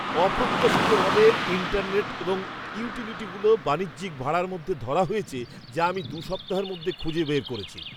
অপ্রত্যাশিতভাবে, ইন্টারনেট এবং ইউটিলিটিগুলো বাণিজ্যিক ভাড়ার মধ্যে ধরা হয়েছে যা আমি দু সপ্তাহের মধ‍্যে খুঁজে বার করেছি।